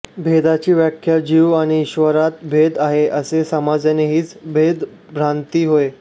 भेदाची व्याख्या जीव आणि ईश्वरात भेद आहे असे समजणे हीच भेदभ्रांती होय